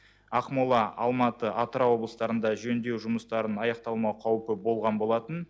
ақмола алматы атырау облыстарында жөндеу жұмыстарын аяқталмау қаупі болған болатын